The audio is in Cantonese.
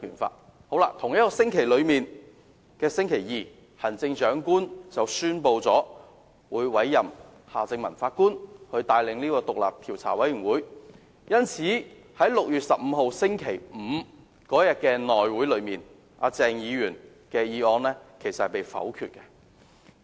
在同一個星期的星期二，行政長官宣布委任夏正民法官帶領獨立調查委員會，鄭議員的議案因而在6月15日的內務委員會會議上被否決。